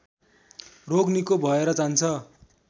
रोग निको भएर जान्छ